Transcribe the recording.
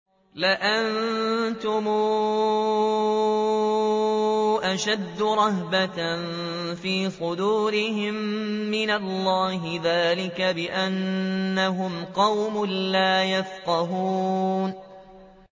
لَأَنتُمْ أَشَدُّ رَهْبَةً فِي صُدُورِهِم مِّنَ اللَّهِ ۚ ذَٰلِكَ بِأَنَّهُمْ قَوْمٌ لَّا يَفْقَهُونَ